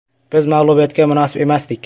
Biz mag‘lubiyatga munosib emasdik.